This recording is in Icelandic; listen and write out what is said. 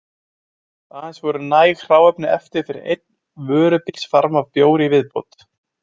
Aðeins voru næg hráefni eftir fyrir einn vörubílsfarm af bjór í viðbót.